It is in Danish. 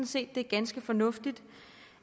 set det er ganske fornuftigt